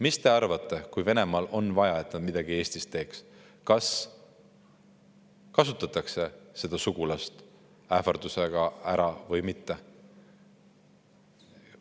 Mis te arvate, kui Venemaal on vaja, et nad midagi Eestis teeks, kas neid sugulasi kasutatakse neid ähvardades ära või mitte?